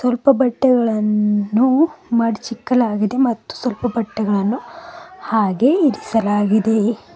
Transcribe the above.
ಅಲ್ಪ ಬಟ್ಟೆಗಳನ್ನು ಮಡಚಿಕ್ಕಲಾಗಿದೆ ಮತ್ತೆ ಸ್ವಲ್ಪ ಬಟ್ಟೆಗಳನ್ನು ಹಾಗೆ ಇರಿಸಲಾಗಿದೆ.